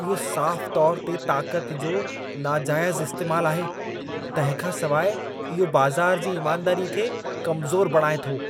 इहो साफ़ु तौर ते ताक़त जो नाजाइज़ु इस्तेमालु आहे तंहिंखां सिवाए इहो बाज़ार जी ईमानदारीअ खे कमज़ोरु बणाइ थो।